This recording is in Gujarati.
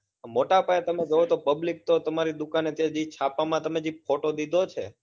મોટા પાયા તમે તો જુઓ public તો તમારી દુકાને કે જે છાપા માં જે તમે photo દીધો છે